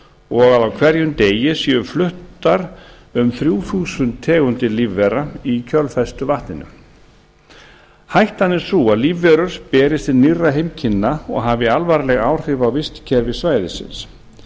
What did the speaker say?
og að á hverjum degi séu fluttar um þrjú þúsund tegundir lífvera í kjölfestuvatninu hættan sú að lífverur berist til nýrra heimkynna og hafi alvarleg áhrif á vistkerfi svæðisins